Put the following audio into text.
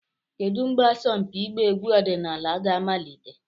Kedu mgbe asọmpi ịgba egwu ọdịnala ga-amalite?